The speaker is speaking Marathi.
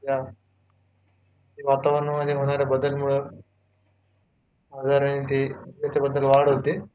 की सध्या वातावरण मध्ये होणाऱ्या बदल मुळे आजारानं मध्ये वाढ होते.